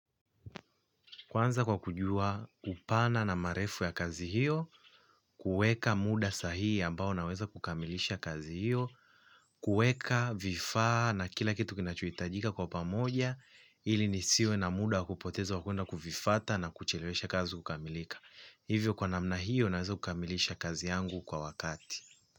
Kwanza kwa kujua upana na marefu ya kazi hiyo, kuweka muda sahihi ambao naweza kukamilisha kazi hiyo, kuweka vifaa na kila kitu kinachohitajika kwa pamoja, ili nisiwe na muda wa kupoteza wa kuenda kuvifuata na kuchelewesha kazi kukamilika. Hivyo kwa namna hiyo naweza kukamilisha kazi yangu kwa wakati.